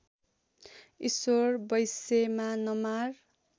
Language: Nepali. ईश्वर बैँसैमा नमार